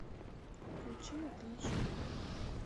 включи натали жу